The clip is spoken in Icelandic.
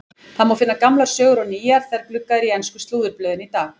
Það má finna gamlar sögur og nýjar þegar gluggað er í ensku slúðurblöðin í dag.